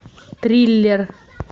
триллер